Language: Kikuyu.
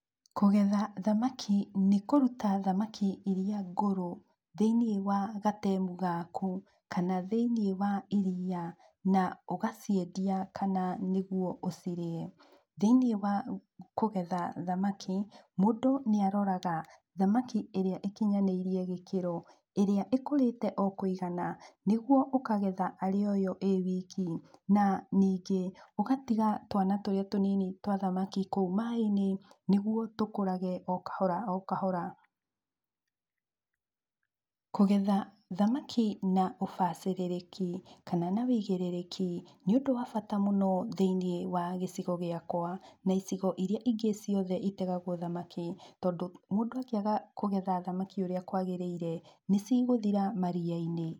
Kũgetha thamaki nĩ kũruta thamaki iria ngũrũ thĩiniĩ wa gatemu gaku kana thĩiniĩ wa iriia na ũgaciendia kana nĩguo ũcirĩe. Thĩiniĩ wa kũgetha thamaki, mũndũ nĩ aroraga thamaki ĩrĩa ĩkinyanĩirie gĩkĩro, ĩrĩa ĩkũrĩte o kũigana nĩguo ũkagetha arĩ o yo ĩĩ wiki. Na ningĩ ũgatiga twana tũrĩa tũnini twa thamaki kũu maĩ-inĩ nĩguo tũkũrage o kahora o kahora. Kũgetha thamaki na ũbacĩrĩrĩki kana na wĩigĩrĩrĩki nĩ ũndũ wa bata mũno thĩiniĩ wa gĩcigo gĩakwa na icigo irĩa ingĩ ciothe itegagwo thamaki tondũ mũndũ angĩaga kũgetha thamaki ũrĩa kwagĩrĩire nĩ cigũthira maria-inĩ.